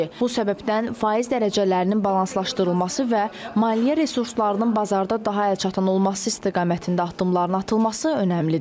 Bu səbəbdən faiz dərəcələrinin balanslaşdırılması və maliyyə resurslarının bazarda daha əlçatan olması istiqamətində addımların atılması önəmlidir.